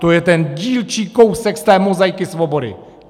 To je ten dílčí kousek z té mozaiky svobody.